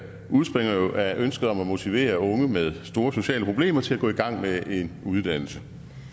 udspringer jo af ønsket om at motivere unge med store sociale problemer til at gå i gang med en uddannelse